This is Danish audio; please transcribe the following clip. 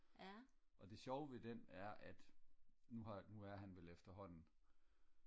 og det sjove ved den er at nu har nu er han efterhånden